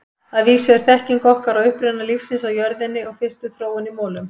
Að vísu er þekking okkar á uppruna lífsins á jörðinni og fyrstu þróun í molum.